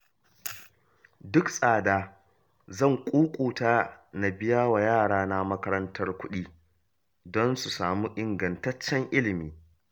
Duk tsada zan ƙuƙuta na biya wa yarana makarantar kuɗi, don su samu ingantaccen ilimi